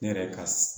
Ne yɛrɛ ka